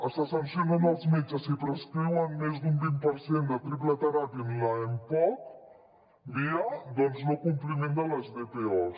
se sancionen els metges si prescriuen més d’un vint per cent de triple teràpia en l’mpoc via no compliment de les dpos